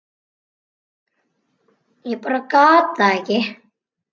Ég bara gat það ekki.